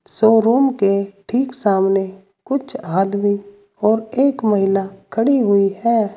Showroom के ठीक सामने कुछ आदमी और एक महिला खड़ी हुई है।